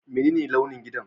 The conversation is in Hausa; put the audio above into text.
Menene launin gidan?